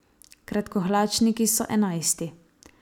Kratkohlačniki so enajsti.